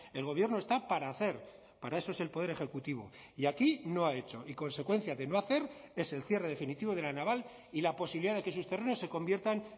el gobierno está para hacer para eso es el poder ejecutivo y aquí no ha hecho y consecuencia de no hacer es el cierre definitivo de la naval y la posibilidad de que sus terrenos se conviertan